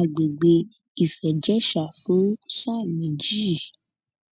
àgbègbè ìfẹìjẹsà fún sáà méjì